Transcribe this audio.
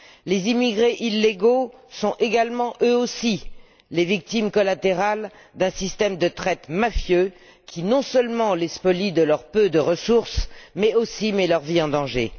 Les immigrés illégaux sont également, eux aussi, les victimes collatérales d'un système de traite mafieux qui, non seulement, les spolie de leur peu de ressources mais aussi met leur vie en danger.